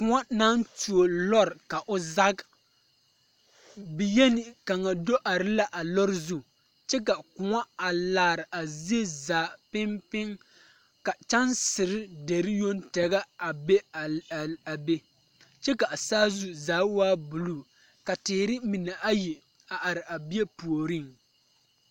Koɔ naŋ tuo lɔre ka o zage biyeni kaŋ do are la a lɔre zu kyɛ ka koɔ a laare a zie zaa piŋ piŋ ka kyɛnsere deri yoŋ tɛgɛ a be a a a be kyɛ ka a saazu zaa waa bulu ka teere mine ayi a are a bie puoriŋ.